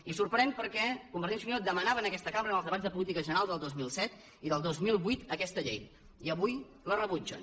i sorprèn perquè convergència i unió demanava en aquesta cambra en els debats de política general del dos mil set i del dos mil vuit aquesta llei i avui la rebutgen